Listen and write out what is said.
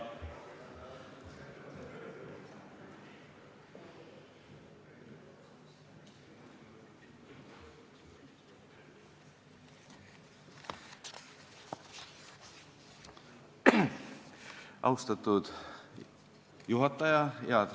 Austatud juhataja!